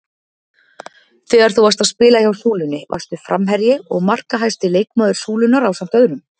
Þegar þú varst að spila hjá Súlunni varstu framherji og markahæsti leikmaður Súlunnar ásamt öðrum?